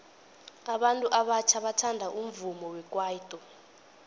abantu abatjha bathanda umvumo wekwaito